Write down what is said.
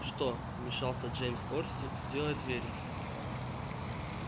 что вмешался джеймс орси делает вересов